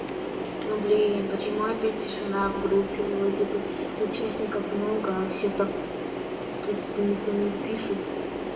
ну блин почему опять тишина в группе вроде бы участников много а все так никто не пишет